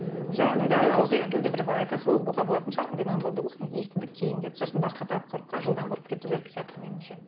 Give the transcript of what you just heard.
бір айта салу болатын шығар енді болсын естідік кейін деп сосын басқа тақырыпқа жылдам бұрып кету керек сияқты меніңше